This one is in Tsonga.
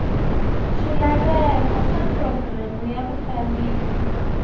swilaveko swa programu ya vufambisi